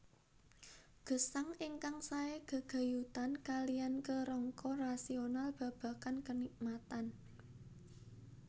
Gesang ingkang sae gegayutan kaliyan kerangka rasional babagan kenikmatan